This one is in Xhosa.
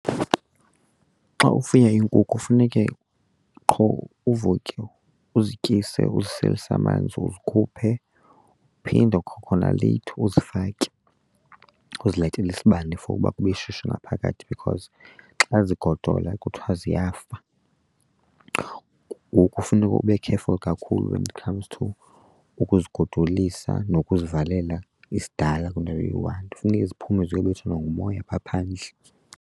Xa ufuye iinkukhu funeke qho uvuke uzityise, uziselise amanzi, uzikhuphe, uphinde kwakhona leyithi uzifake, uzilayitele isibane for uba kube shushu ngaphakathi because xa zigodola kuthiwa ziyafa. Ngoku funeka ube careful kakhulu when it comes to ukuzigodolisa nokuzivalela isidala kwindawo eyi-one, funeke ziphume ziyobethwa nangumoya phaa phandle.